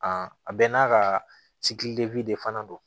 a bɛɛ n'a ka de fana don